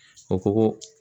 O ko ko